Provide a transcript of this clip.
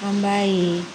An b'a ye